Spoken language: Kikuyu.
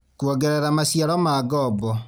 Kwongerera maciaro ma ngoombo